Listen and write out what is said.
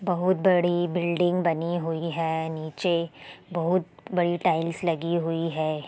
बहुत बड़ी बिल्डिंग बनी हुई है नीचे बहुत बड़ी टाइल्स लगी हुई है ।